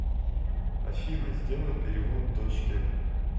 афина сделай перевод дочке